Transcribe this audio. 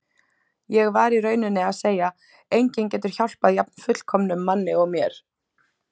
Ég var í rauninni að segja: Enginn getur hjálpað jafn fullkomnum manni og mér.